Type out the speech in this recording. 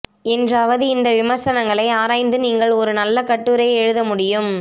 என்றாவது இந்த விமர்சனங்களை ஆராய்ந்து நீங்கள் ஒரு நல்ல கட்டுரை எழுதமுடியும்